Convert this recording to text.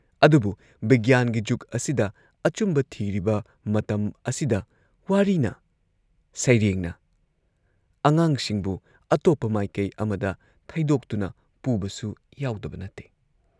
ꯑꯗꯨꯕꯨ ꯕꯤꯒ꯭ꯌꯥꯟꯒꯤ ꯖꯨꯒ ꯑꯁꯤꯗ ꯑꯆꯨꯝꯕ ꯊꯤꯔꯤꯕ ꯃꯇꯝ ꯑꯁꯤꯗ ꯋꯥꯔꯤꯅ, ꯁꯩꯔꯦꯡꯅ ꯑꯉꯥꯡꯁꯤꯡꯕꯨ ꯑꯇꯣꯞꯄ ꯃꯥꯏꯀꯩ ꯑꯃꯗ ꯊꯩꯗꯣꯛꯇꯨꯅ ꯄꯨꯕꯁꯨ ꯌꯥꯎꯗꯕ ꯅꯠꯇꯦ ꯫